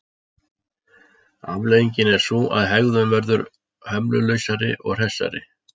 Afleiðingin er sú að hegðun verður hömlulausari og hressari.